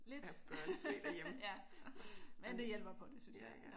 Lidt. Men det hjælper på det synes jeg